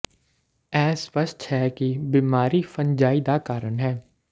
ਇਹ ਸਪੱਸ਼ਟ ਹੈ ਕਿ ਬਿਮਾਰੀ ਫੰਜਾਈ ਦਾ ਕਾਰਨ ਹੈ